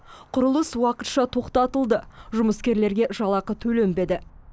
құрылыс уақытша тоқтатылды жұмыскерлерге жалақы төленбеді